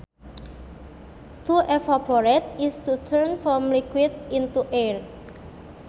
To evaporate is to turn from liquid into air